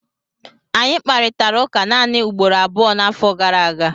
Anyị kparịtara ụka naanị ugboro abụọ n'afọ gara aga